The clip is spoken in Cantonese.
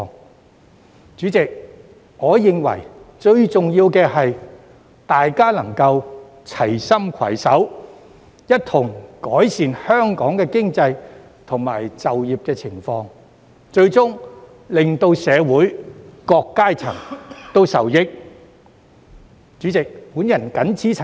代理主席，我認為最重要的是，大家能夠齊心攜手，一同改善香港的經濟及就業環境，最終令社會各個階層受益。